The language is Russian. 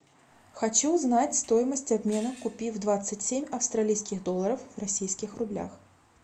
хочу узнать стоимость обмена купив двадцать семь австралийских долларов в российских рублях